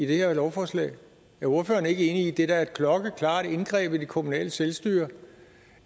det her lovforslag er ordføreren ikke enig i at det da er et klokkeklart indgreb i det kommunale selvstyre